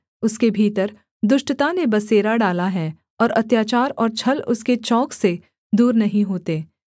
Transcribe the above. उसके भीतर दुष्टता ने बसेरा डाला है और अत्याचार और छल उसके चौक से दूर नहीं होते